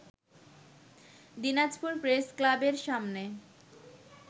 দিনাজপুর প্রেসক্লাবের সামনে